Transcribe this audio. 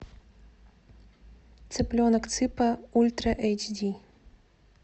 цыпленок цыпа ультра эйч ди